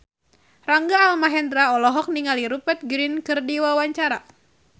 Rangga Almahendra olohok ningali Rupert Grin keur diwawancara